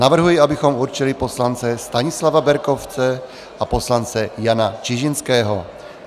Navrhuji, abychom určili poslance Stanislava Berkovce a poslance Jana Čižinského.